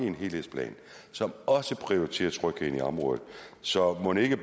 en helhedsplan som også prioriterer trygheden i området så mon ikke